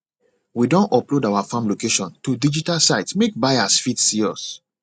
we don upload our farm location to digital site make buyers fit see us